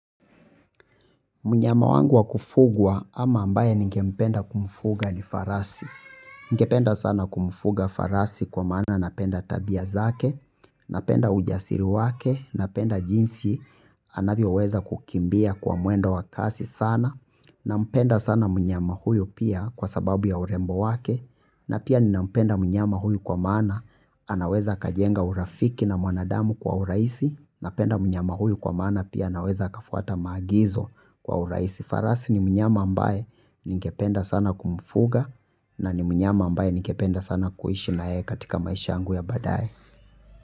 Mnyama wangu wa kufugwa ama ambaye ningempenda kumfuga ni farasi. Ningependa sana kumfuga farasi kwa maana napenda tabia zake, napenda ujasiri wake, napenda jinsi anavyoweza kukimbia kwa mwendo wa kasi sana, nampenda sana mnyama huyu pia kwa sababu ya urembo wake, na pia ninampenda mnyama huyu kwa maana anaweza kajenga urafiki na mwanadamu kwa uraisi, napenda mnyama huyu kwa maana pia snaweza akafuata maagizo kwa uraisi farasi. Ni mnyama ambaye ningependa sana kumfuga na ni mnyama ambaye ningependa sana kuhishi na yeye katika maisha yangu ya badae.